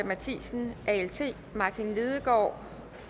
matthisen martin lidegaard